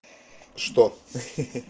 что ха-ха